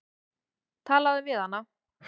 Talaðu við hana.